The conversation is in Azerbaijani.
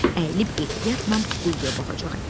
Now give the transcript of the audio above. Əyilib ehtiyatla quyuya baxacaq.